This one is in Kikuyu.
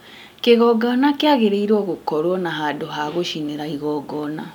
kĩgongona kĩaagĩrĩirwo gũkorwo na handũ ha gũcinĩra igongona